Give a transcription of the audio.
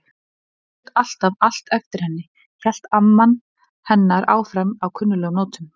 Erlingur lét alltaf allt eftir henni- hélt amma hennar áfram á kunnuglegum nótum.